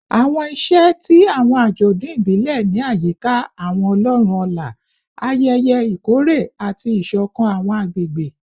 Awọn iṣẹ ti awọn ajọdun ibile ni ayika awọn ọlọrun ọlá, ayẹyẹ ikore, ati isokan awọn agbegbe